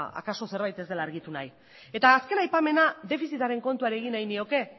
akaso zerbait ez dela argitu nahi eta azken aipamena defizitaren kontuari egin nahi nioke